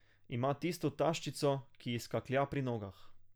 Ima tisto taščico, ki ji skaklja pri nogah.